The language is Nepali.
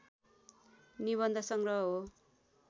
निबन्धसङ्ग्रह हो।